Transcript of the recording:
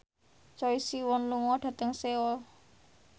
Choi Siwon lunga dhateng Seoul